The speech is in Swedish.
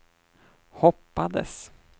hoppades